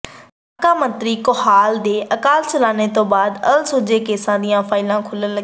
ਸਾਬਕਾ ਮੰਤਰੀ ਕੋਹਾੜ ਦੇ ਅਕਾਲ ਚਲਾਣੇ ਤੋਂ ਬਾਅਦ ਅਣਸੁਲਝੇ ਕੇਸਾਂ ਦੀਆਂ ਫਾਈਲਾਂ ਖੁੱਲ੍ਹਣ ਲੱਗੀਆਂ